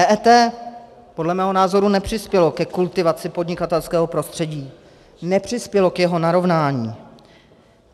EET podle mého názoru nepřispělo ke kultivaci podnikatelského prostředí, nepřispělo k jeho narovnání.